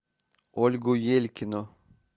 ольгу елькину